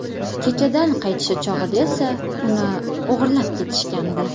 Kechadan qaytishi chog‘ida esa uni o‘g‘irlab ketishgandi.